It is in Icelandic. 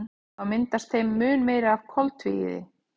Þá myndast þeim mun meira af koltvíildi.